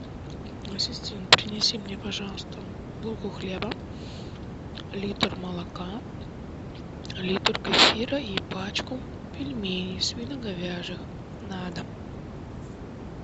ассистент принеси мне пожалуйста булку хлеба литр молока литр кефира и пачку пельменей свино говяжих на дом